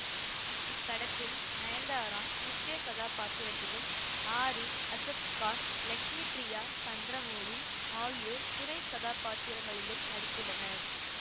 இப்படத்தில் நயன்தாரா முக்கிய கதாபாத்திரத்திலும் ஆரி அசத் கான் லட்சுமி பிரியா சந்திரமௌலி ஆகியோர் துணை கதாபாத்திரங்களிலும் நடித்துள்ளனர்